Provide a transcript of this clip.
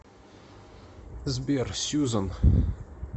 сбер сюзан